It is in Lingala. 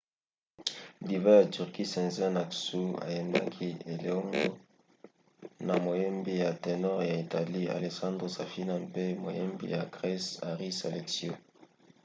diva ya turquie sezen aksu ayembaki eleongo na moyembi ya ténor ya italie alessandro safina mpe moyembi ya grese haris alexiou